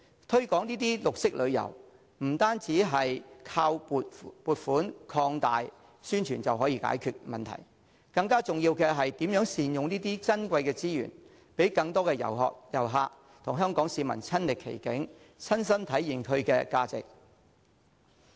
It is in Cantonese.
推廣綠色旅遊，不能單靠撥款擴大宣傳便能解決問題，更重要的是如何善用這些珍貴的資源，讓更多旅客親歷其境，親身體驗其價值。